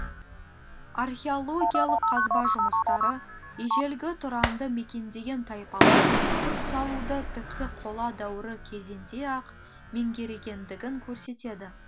археологиялық қазба жұмыстары ежелгі тұранды мекендеген тайпалар құс салуды тіпті қола дәуірі кезінде ақ меңгергендігін көрсетеді